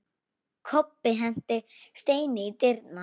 Kobbi henti steini í dyrnar.